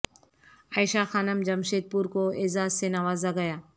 عائشہ Khanam Jamshedpur کو اعزاز سے نوازہ گیا